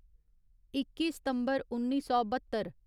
इक्की सितम्बर उन्नी सौ बत्तर